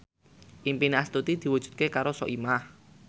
impine Astuti diwujudke karo Soimah